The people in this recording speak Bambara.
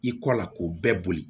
I kɔ la k'o bɛɛ boli